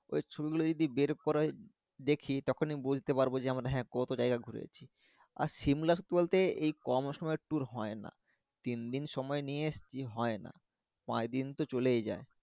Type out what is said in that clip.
ওই ছবি গুলো যদি বের করাই দেখি তখনই বুঝতে পারব যে যেমন কতো জাইগা ঘুরেছি আর shimla বলতে এই কম সময়ের tour হয়না তিন দিন সময় নিয়ে এসছি হয়না কয়দিন তো চলেই যাই